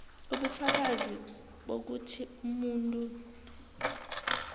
ubufakazi bokuthi umuntu